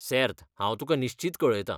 सेर्त हांव तुका निश्चीत कळयतां.